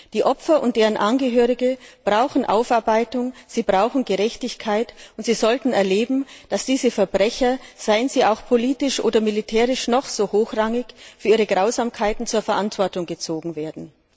Die Opfer und deren Angehörige brauchen Aufarbeitung, sie brauchen Gerechtigkeit, und sie sollten erleben, dass diese Verbrecher, seien sie auch politisch oder militärisch noch so hochrangig, für ihre Grausamkeiten zur Verantwortung gezogen werden.